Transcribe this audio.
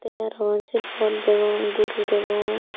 te aro sersurot degong guru degong.